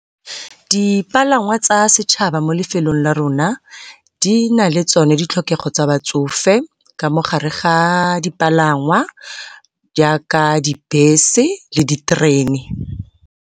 Dipalangwa tsa setšhaba mo lefelong la rona di na le tsone ditlhokego tsa batsofe ka mogare ga dipalangwa jaaka dibese le diterene.